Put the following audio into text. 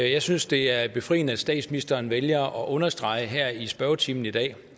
jeg synes det er befriende at statsministeren vælger at understrege her i spørgetimen i dag